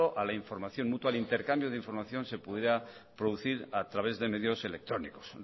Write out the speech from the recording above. a la información mutua el intercambio de información se pudiera producir a través de medios electrónicos